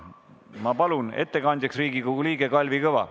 Ma palun ettekandjaks Riigikogu liikme Kalvi Kõva.